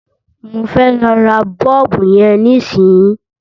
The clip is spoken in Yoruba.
Mò ń lọ ra bọ́ọ̀bù yẹn nísìnyìí.